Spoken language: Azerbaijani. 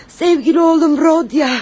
Sevgili oğlum Rodia.